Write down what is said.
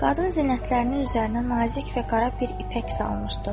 Qadın zinətlərinin üzərinə nazik və qara bir ipək salmışdı.